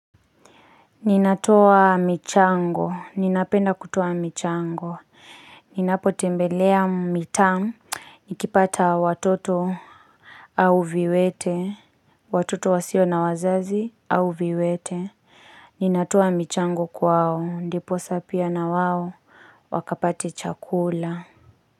Ninatoa michango. Ninapenda kutoa michango. Ninapotembelea mitaa. Nikipata watoto au viwete. Watoto wasio na wazazi au viwete. Ninatoa michango kwao. Ndiposa pia na wao. Wakapate chakula.